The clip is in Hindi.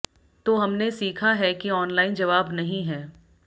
तो हमने सीखा है कि ऑनलाइन जवाब नहीं है